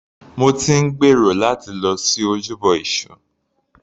Mo ti ń gbèrò láti lọ sí ojúbọ èṣù.